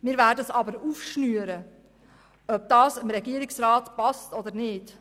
Aber wir werden es aufschnüren, ob das dem Regierungsrat passt oder nicht.